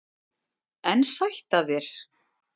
En sætt af þér!